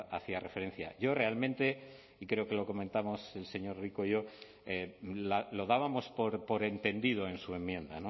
hacía referencia yo realmente y creo que lo comentamos el señor rico y yo lo dábamos por entendido en su enmienda